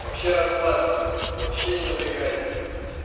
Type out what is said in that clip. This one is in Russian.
вообще расслабься вообще не напрягайся